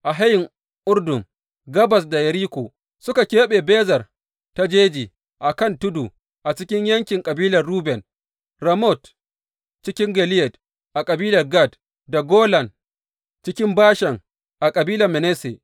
A hayin Urdun, gabas da Yeriko, suka keɓe Bezer ta jeji a kan tudu a cikin yankin kabilar Ruben, Ramot cikin Gileyad a kabilar Gad, da Golan cikin Bashan a kabilar Manasse.